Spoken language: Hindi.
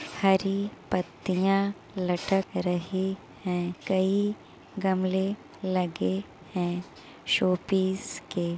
हरी पत्तियाँ लटक रही हैं। कई गमले लगे हैं शो सीप के।